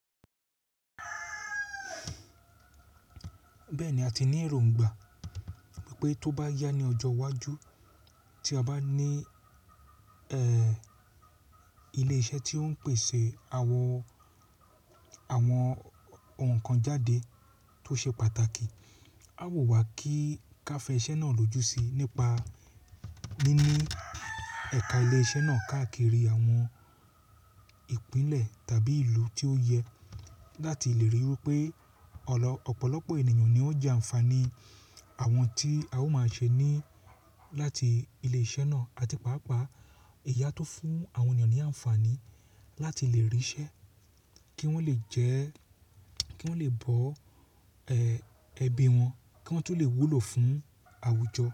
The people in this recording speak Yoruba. Bẹ́ẹ̀ ni, a ti ní èròngbà wípé tó bá yá ní ọjọ́ iwájú tí a bá ní, ẹ́, ilé-iṣẹ́ tí ó ń pèsè àwọn, àwọn ohun kan jáde tó ṣe pàtàkì, a wu wá kí káfè iṣẹ́ náà lóju sí i nípa níní ẹ̀ka ilé iṣẹ́ náà káàkiri àwọn ìpínlẹ̀ tàbí ìlú tí ó yẹ láti lè ríi wipé ọ̀pọ̀lọpọ̀ ènìyàn ni ó ń jẹ ànfààní àwọn tí a ó máa ṣe ní láti ilé iṣẹ́ náà àti pàápàá ẹ̀yii a tun fún àwọn ènìyàn ní ànfààní láti lè ríṣẹ́, kí wọ́n lè jẹ́, kí wọ́n lè bọ ẹbí wọn, kí wọ́n tun lè wúlò fún àwùjọ.